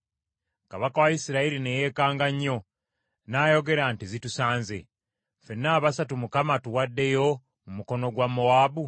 Kabaka wa Isirayiri ne yeekanga nnyo. N’ayogera nti, “Zitusanze! Ffenna abasatu, Mukama atuwaddeyo mu mukono gwa Mowaabu?”